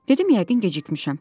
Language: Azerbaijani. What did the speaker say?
Dedim yəqin gecikmişəm.